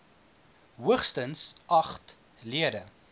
hoogstens agt lede